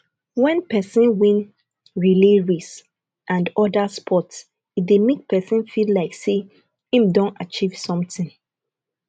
when perosn win relay race and oda sports e dey make person feel like sey im don achieve something